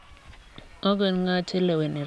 Agot ng'o che leweni rais?